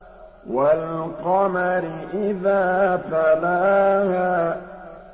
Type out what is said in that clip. وَالْقَمَرِ إِذَا تَلَاهَا